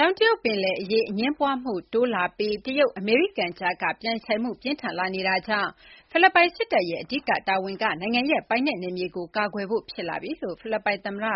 တောင်တရုတ် ပင်လယ် အရေး အငြင်းပွားမှု တိုးလာပြီး တရုတ်-အမေရိကန် ကြားက ပြိုင်ဆိုင်မှု ပြင်းထန်လာနေတာကြောင့် ဖိလစ်ပိုင် စစ်တပ်ရဲ့ အဓိက တာဝန်က နိုင်ငံရဲ့ ပိုင်နက် နယ်မြေကို ကာကွယ်ဖို့ ဖြစ်လာပြီလို့ ဖိလစ်ပိုင်သမ္မတ